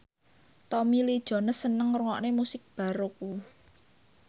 Tommy Lee Jones seneng ngrungokne musik baroque